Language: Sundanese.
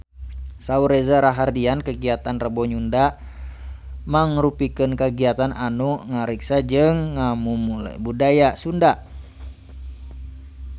Saur Reza Rahardian kagiatan Rebo Nyunda mangrupikeun kagiatan anu ngariksa jeung ngamumule budaya Sunda